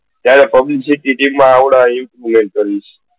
ત્યારે publicity team માં આ અને GS બનીશ